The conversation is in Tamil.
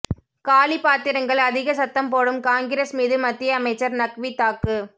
காலி பாத்திரங்கள் அதிக சத்தம் போடும் காங்கிரஸ் மீது மத்திய அமைச்சர் நக்வி தாக்கு